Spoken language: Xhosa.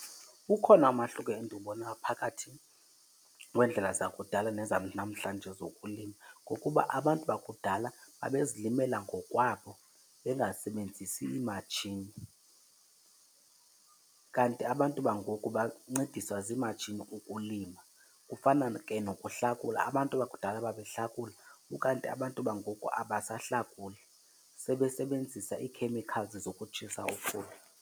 Ukhona umahluko endiwubonayo phakathi kweendlela zakudala nezanamhlanje zokulima, ngokuba abantu bakudala babezilimela ngokwabo bengasebenzisi imatshini. Kanti abantu bangoku bancediswa ziimatshini ukulima. Kufana ke nokuhlakula, abantu bakudala babehlakula ukanti abantu bangoku abasahlakuli, sebesebenzisa ii-chemicals zokutshisa ukhula.